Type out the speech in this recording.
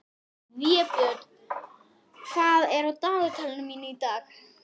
Vébjörn, hvað er í dagatalinu mínu í dag?